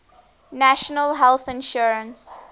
national health insurance